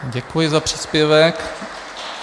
Děkuji za příspěvek.